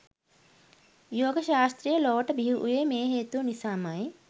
යෝග ශාස්ත්‍රය ලොවට බිහිවූයේ මේ හේතුව නිසාමයි.